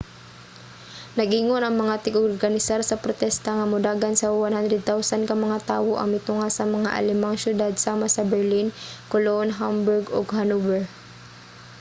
nag-ingon ang mga tig-organisar sa protesta nga modagan sa 100,000 ka mga tawo ang mitunga sa mga alemang syudad sama sa berlin cologne hamburg ug hanover